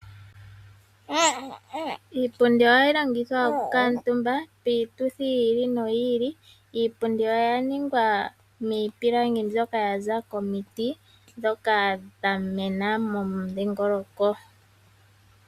Iipundi ohayi longithwa okukuutumba piituthi yi ili noyi ili. Iipundi oya ningwa miipilangi mbyoka yaza komiti ndhoka dha mena momudhingoloko.